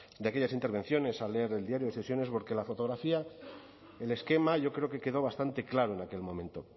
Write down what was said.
de aquellas intervenciones a leer el diario de sesiones porque la fotografía el esquema yo creo que quedó bastante claro en aquel momento